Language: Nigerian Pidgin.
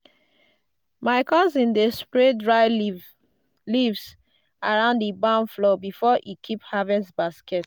my cousin dey spread dry leaves leaves around di barn floor before e keep harvest baskets.